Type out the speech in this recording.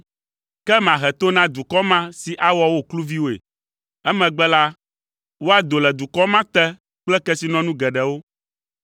Ke mahe to na dukɔ ma si awɔ wo kluviwoe. Emegbe la, woado le dukɔ ma te kple kesinɔnu geɖewo.